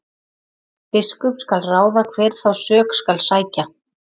Biskup skal ráða hver þá sök skal sækja.